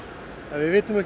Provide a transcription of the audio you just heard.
við vitum ekki